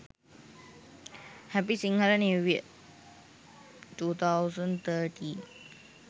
happy sinhala new year 2013